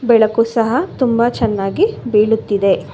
ಬೆಳಕು ಸಹ ತುಂಬಾ ಚೆನ್ನಾಗಿ ಬೀಳುತ್ತಿದೆ.